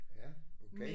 Ja okay